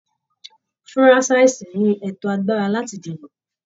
Furasisi ni ẹtọ agbára láti dìbò